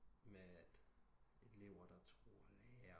Med at elever der trurer lærer